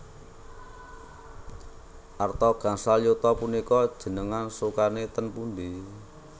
Arta gangsal yuta punika njenengan sukani teng pundi?